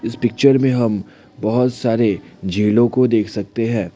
इस पिक्चर में हम बहोत सारे झीलों को देख सकते हैं।